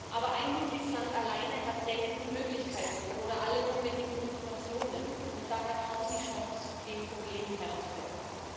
Aber ein Mitgliedsland alleine hat selten die Möglichkeiten oder alle notwendigen Informationen und daher kaum die Chance, dem Problem Herr zu werden.